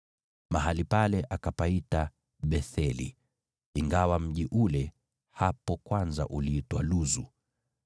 Mahali pale akapaita Betheli, ingawa mji ule hapo kwanza uliitwa Luzu.